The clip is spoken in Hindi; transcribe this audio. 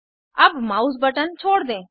अब माउस बटन छोड़ दें